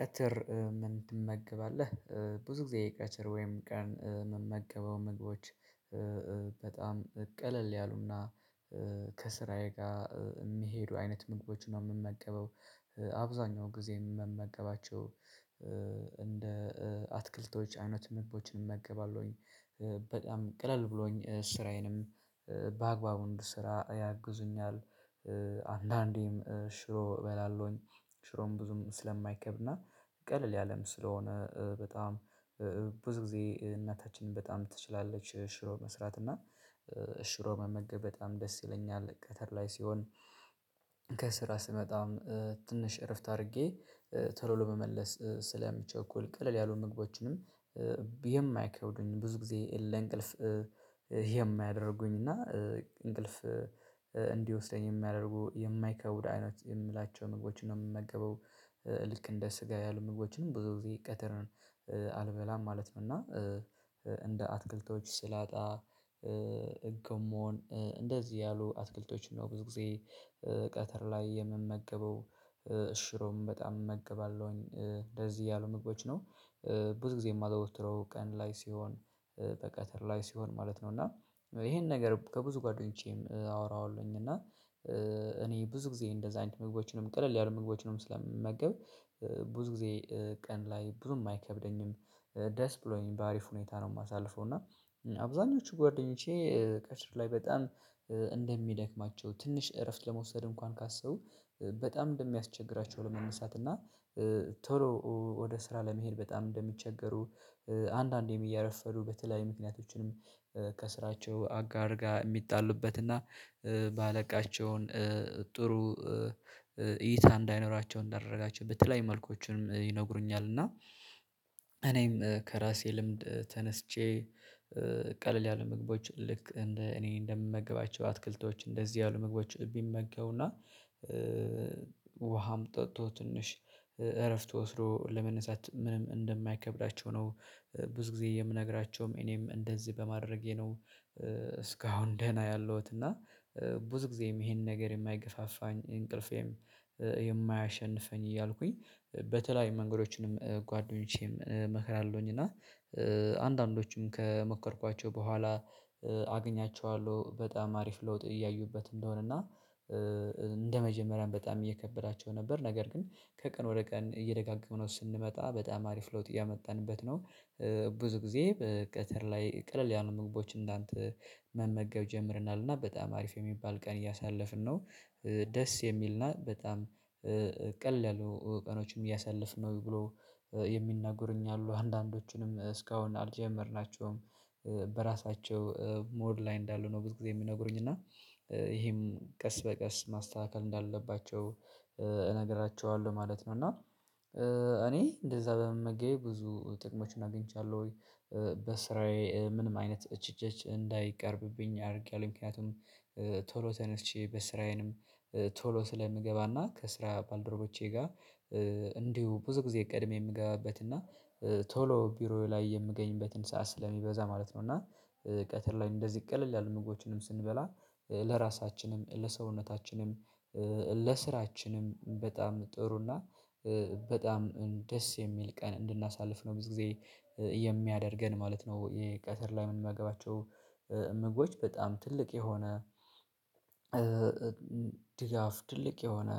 ቀትር ምን ትመገባለህ? ብዙ ጊዜ ቀትር ወይም ቀን የምመገበው ምግቦች በጣም ቀለል ያሉና ከስራዬ ጋር የሚሄዱ አይነት ምግቦችን ነው የምመገበው። አብዛኛው ጊዜ ምመገባቸው እንደ አትክልቶች አይነት ምግቦችን እመገባለሁኝ። በጣም ቅለል ብሎኝ ስራዬንም በአግባቡ እንድሰራ ያግዙኛል። አንዳንዴም ሽሮ እበላለሁኝ። ሽሮም ብዙም ስለማይከብድና ቀለል ያለም ስለሆነ በጣም ብዙ ጊዜ እናታችንን በጣም ትችላለች ሽሮ መስራት። እና ሽሮ መመገብ በጣም ደስ ይለኛል። ቀትር ላይ ሲሆን ከስራ ስመጣም ትንሽ እረፍት አድርጌ ቶሎ ለመመለስ ስለምቸኩል ቀለል ያሉ ምግቦችንም የማይከብዱኝ ብዙ ጊዜ ለእንቅልፍ የማያደርጉኝ እና እንቅልፍ እንዲወስደኝ የሚያደርጉ የማይከብዱ አይነት የምላቸው ምግቦችን ነው የምመገበው። ልክ እንደ ስጋ ያህል ምግቦችን ብዙ ጊዜ ቀትር አልበላም ማለት ነው። እና እንደ አትክልቶች ስላጣ ጎመን እንደዚህ ያሉ አትክልቶችን ነው ብዙ ጊዜ ቀትር ላይ የምመገበው። ሽሮም በጣም እመገባለሁኝ። እንደዚህ ያሉ ምግቦች ነው ብዙ ጊዜ የማዘወትረው ቀን ላይ ሲሆን በቀትር ላይ ሲሆን ማለት ነው። እና ይሄን ነገር ከብዙ ጓደኞቼም አወራዋለሁኝ እና እኔ ብዙ ጊዜ እንደዛ አይነት ምግቦችንም ቀለል ያሉ ምግቦችንም ስለምመገብ ብዙ ጊዜ ቀን ላይ ብዙም አይከብደኝም። ደስ ብሎኝ በአሪፍ ሁኔታ ነው የማሳልፈው። እና አብዛኞቹ ጓደኞቼ ቀትር ላይ በጣም እንደሚደክማቸው ትንሽ እረፍት ለመውሰድ እንኳን ካሰቡ በጣም እንደሚያስቸግራቸው ለመነሳት እና ቶሎ ወደ ስራ ለመሄድ በጣም እንደሚቸገሩ አንዳንዴም እያረፈዱ በተለያዩ ምክንያቶችንም ከስራቸው አጋር ጋር የሚጣሉበትና ባለቃቸውን ጥሩ እይታ እንዳይኖራቸው እንዳደረጋቸው በተለያየ መልኮችንም ይነግሩኛል። እና እኔም ከራሴ ልምድ ተነስቼ ቀለል ያሉ ምግቦች ልክ እንደ እኔ እንደምመግባቸው አትክልቶች እንደዚህ ያሉ ምግቦች ቢመገቡና አምጥቶ ትንሽ እረፍት ወስዶ ለመነሳት ምንም እንደማይከብዳቸው ነው ብዙ ጊዜ የምነግራቸውም። እኔም እንደዚህ በማድረጌ ነው እስካሁን ደህና ያለሁት። እና ብዙ ጊዜም ይሄንን ነገር የማይገፋፋኝ እንቅልፌም የማያሸንፈኝ እያልኩኝ በተለይ መንገዶችንም ጓደኞቼም እመክራለሁኝ። እና አንዳንዶቹም ከመከርኳቸው በኋላ አግኛቸዋለሁ። በጣም አሪፍ ለውጥ እያዩበት እንደሆነ እና እንደመጀመሪያም በጣም እየከበዳቸው ነበር። ነገር ግን ከቀን ወደ ቀን እየደጋገምነው ስንመጣ በጣም አሪፍ ለውጥ እያመጣንበት ነው። ብዙ ጊዜ በቀትር ላይ ቀለል ያሉ ምግቦች እንዳንተ መመገብ ጀምረናል። እና በጣም አሪፍ የሚባል ቀን እያሳለፍን ነው። ደስ የሚል እና በጣም ቀለሉ ያሉ ቀኖችም እያሳለፍን ነው ብሎ የሚናገሩኝ አሉ። አንዳንዶቹንም እስካሁን አልጀመርናቸውም። በራሳቸው ሞድ ላይ እንዳሉ ነው ብዙ ጊዜ የሚነግሩኝ። እና ይሄም ቀስ በቀስ ማስተካከል እንዳለባቸው እነግራቸዋለሁ ማለት ነው። እና እኔ እንደዛ በመመገቤ ብዙ ጥቅሞችን አግኝቻለሁኝ። በስራዬ ምንም አይነት ትቺት እንዳይቀርብብኝ አድርጌያለሁ። ምክንያቱም ቶሎ ተነስቼ በስራዬንም ቶሎ ስለምገባና ከስራ ባልደረቦቼ ጋር እንዲሁ ብዙ ጊዜ ቀድሜ የምገባበት እና ቶሎ ቢሮዬ ላይ የምገኝበትን ሰዓት ስለሚበዛ ማለት ነው። እና ቀትር ላይ እንደዚህ ቀለል ያሉ ምግቦችንም ስንበላ ለራሳችንም ለሰውነታችንም ለስራችንም በጣም ጥሩ እና በጣም ደስ የሚል ቀን እንድናሳልፍ ነው ብዙ ጊዜ የሚያደርገን ማለት ነው። የቀትር ላይ ምንመገባቸው ምግቦች በጣም ትልቅ የሆነ ድጋፍ ትልቅ የሆነ